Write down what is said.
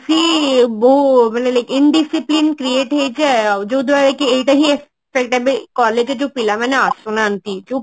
କି ବହୁ ମାନେ Indiscipline create ହେଇଯାଏ ଆଉ ଯୋଉଦ୍ଵାରା କି ଏଇଟା ବି ସେଇଟା ବି collage ରେ ଯୋଉ ପିଲାମାନେ ଆସୁନାହାନ୍ତି